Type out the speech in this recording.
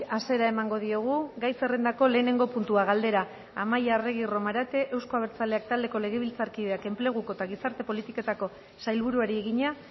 hasiera emango diogu gai zerrendako lehenengo puntua galdera amaia arregi romarate euzko abertzaleak taldeko legebiltzarkideak enpleguko eta gizarte politiketako sailburuari egina